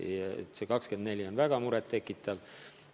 Nii et see 24% on väga muret tekitav.